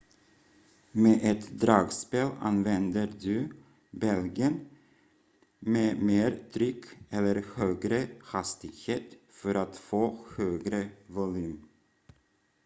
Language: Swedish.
med ett dragspel använder du bälgen med mer tryck eller högre hastighet för att få högre volym